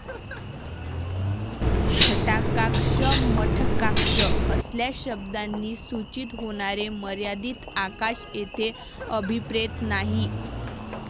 घटाकाश, मठकाश असल्या शब्दांनी सुचित होणारे मर्यादित आकाश येथे अभिप्रेत नाही.